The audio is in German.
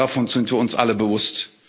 Dessen sind wir uns alle bewusst.